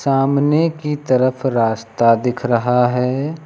सामने की तरफ रास्ता दिख रहा है।